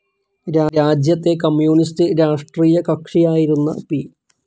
രാജ്യത്തെ കമ്മ്യൂണിസ്റ്റ്‌ രാഷ്ട്രീയകക്ഷിയായിരുന്ന പി.